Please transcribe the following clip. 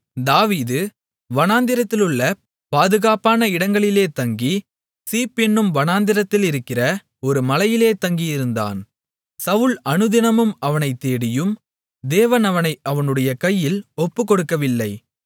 தாவீது வனாந்திரத்திலுள்ள பாதுகாப்பான இடங்களிலே தங்கி சீப் என்னும் வனாந்தரத்திலிருக்கிற ஒரு மலையிலே தங்கியிருந்தான் சவுல் அனுதினமும் அவனைத் தேடியும் தேவன் அவனை அவனுடைய கையில் ஒப்புக்கொடுக்கவில்லை